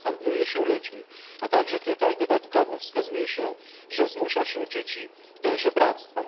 Tam handluje się ludźmi, a także tutaj dodatkowo wskazuje się, że zmusza się dzieci do żebractwa.